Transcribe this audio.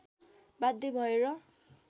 बाध्य भएर